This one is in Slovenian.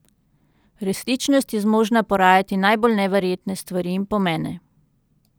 Resničnost je zmožna porajati najbolj neverjetne stvari in pomene.